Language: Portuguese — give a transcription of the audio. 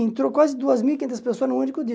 Entrou quase duas mil e quinhentas pessoas num único dia.